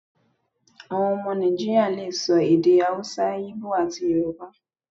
Àwọn ọmọ Nàìjíríà le so èdè Hausa, Íbò, àti Yorùbá.